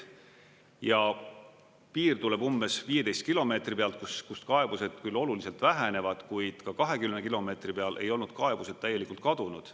Ja piir tuleb umbes 15 kilomeetri pealt, kus kaebused küll oluliselt vähenevad, kuid ka 20 kilomeetri peal ei olnud kaebused täielikult kadunud.